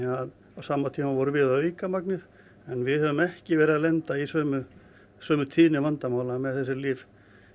á sama tíma vorum við að auka magnið en við höfum ekki verið að lenda í sömu sömu tíðni vandamála með þessi lyf